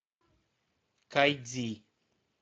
кайдзи